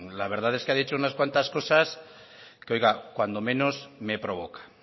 la verdad es que ha dicho unas cuantas cosas que oiga cuando menos me provoca